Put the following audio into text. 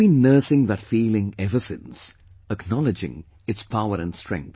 I have been nursing that feeling ever since, acknowledging its power & strength